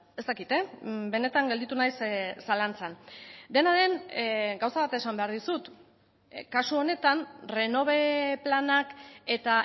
ez dakit benetan gelditu naiz zalantzan dena den gauza bat esan behar dizut kasu honetan renove planak eta